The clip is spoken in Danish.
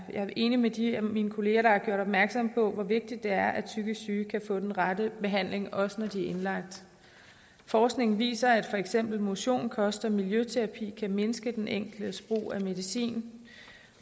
er enig med de af mine kollegaer der har gjort opmærksom på hvor vigtigt det er at psykisk syge kan få den rette behandling også når de er indlagt forskning viser at for eksempel motion kost og miljøterapi kan mindske den enkeltes brug af medicin